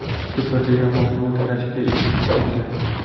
Superliga mavsumi tugashiga ikki tur qolgan.